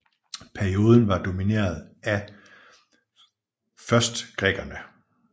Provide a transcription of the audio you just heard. Perioden var domineret af først grækerne